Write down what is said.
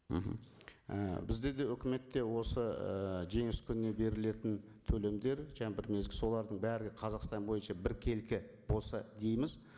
мхм і бізде де өкіметте осы ыыы жеңіс күніне берілетін төлемдер жаңа бір мезгіл солардың барлығы қазақстан бойынша біркелкі болса дейміз